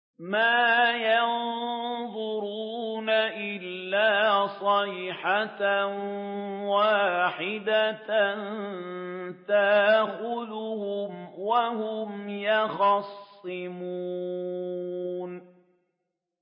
مَا يَنظُرُونَ إِلَّا صَيْحَةً وَاحِدَةً تَأْخُذُهُمْ وَهُمْ يَخِصِّمُونَ